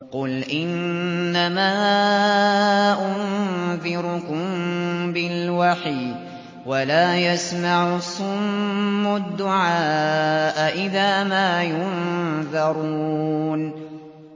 قُلْ إِنَّمَا أُنذِرُكُم بِالْوَحْيِ ۚ وَلَا يَسْمَعُ الصُّمُّ الدُّعَاءَ إِذَا مَا يُنذَرُونَ